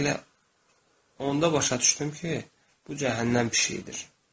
Bax elə onda başa düşdüm ki, bu cəhənnəm pişiyidir.